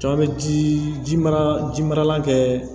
Jama bɛ ji mara ji marala kɛ